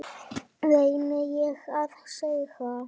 reyni ég að segja.